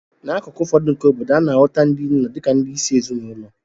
N'akụkụ ụfọdụ nke obodo a, a na-ahụta ndị nna dị ka ndị isi ezinụlọ